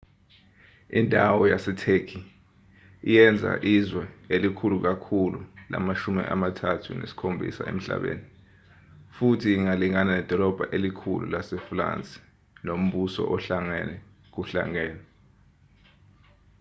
indawo yasetheki iyenza izwe elikhulu kakhulu lama-37 emhlabeni futhi ingalingana nedolobha elikhulu lasefulansi nombuso ohlangene kuhlangene